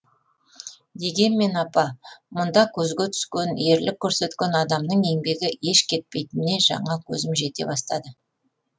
дегенмен апа мұнда көзге түскен ерлік көрсеткен адамның еңбегі еш кетпейтініне жаңа көзім жете бастады